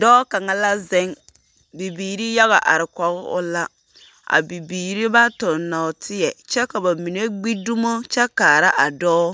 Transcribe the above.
Dɔɔ kaŋa la zeŋ. Bibiiri yaga are kɔge o la. A bibiiri ba toŋ nɔɔteɛ kyɛ ka ba mine gbi dumo kyɛ kaara a dɔɔ.